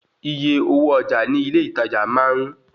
Iye owó ọjà ní ilé ìtajà máa ń